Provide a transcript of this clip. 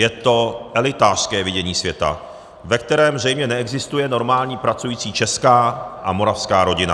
Je to elitářské vidění světa, ve kterém zřejmě neexistuje normální pracující česká a moravská rodina.